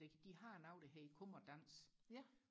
det de har noget der hedder kom og dans